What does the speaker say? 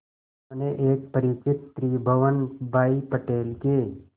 उन्होंने एक परिचित त्रिभुवन भाई पटेल के